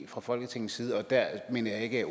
fra folketingets side og der mener jeg ikke